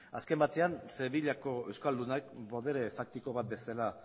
azken batean sevillako euskaldunak botere faktiko bat bezala